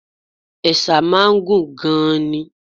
Ẹ̀sà máa ń gùn gan-an ni.